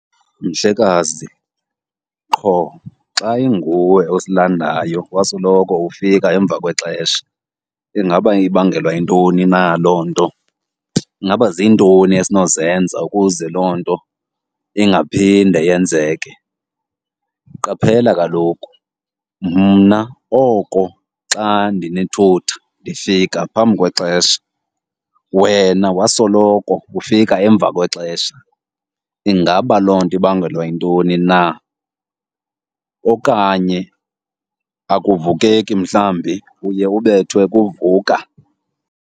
Mhlekazi, qho xa inguwe osilandayo wasoloko ufika emva kwexesha. Ingaba ibangelwa yintoni na loo nto? Ingaba zintoni esinozenza ukuze loo nto ingaphinde yenzeke? Qaphela kaloku, mna oko xa ndinithutha ndifika phambi kwexesha, wena wasoloko ufika emva kwexesha. Ingaba loo nto ibangelwa yintoni na? Okanye akuvukeki mhlawumbi, uye ubethwe kuvuka?